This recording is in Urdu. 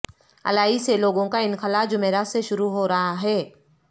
الائی سے لوگوں کا انخلاء جمعرات سے شروع ہو رہا ہے